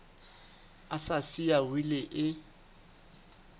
a sa siya wili e